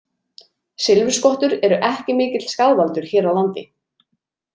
Silfurskottur eru ekki mikill skaðvaldur hér á landi.